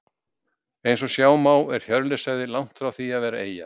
eins og sjá má er hjörleifshöfði langt frá því að vera eyja